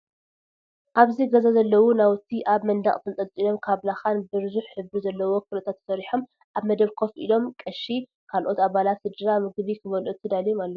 ኣበዚ ገዛ ዘለው ናውቲ ኣብ መንደቅ ተጠልጢሎም ካብ ላካን ብዙሕ ሕብሪ ዘለዎ ክሪታት ተሰሪሖም ኣብ መደብ ኮፍ ኢሎም ቀሺ ካለኦት ኣባላት ስድራ ምግቢ ክበልዑ ተዳልዮም ኣለው።